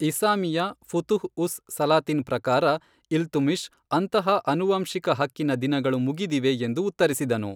ಇಸಾಮಿಯ ಫುತುಹ್ ಉಸ್ ಸಲಾತಿನ್ ಪ್ರಕಾರ, ಇಲ್ತುಮಿಷ್ ಅಂತಹ ಅನುವಂಶಿಕ ಹಕ್ಕಿನ ದಿನಗಳು ಮುಗಿದಿವೆ ಎಂದು ಉತ್ತರಿಸಿದನು.